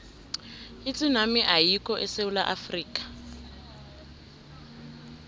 itsunami ayikho esewula afrika